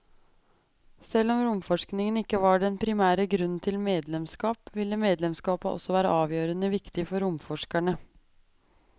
Selv om romforskning ikke var den primære grunnen til medlemskap, ville medlemskapet også være avgjørende viktig for romforskerne.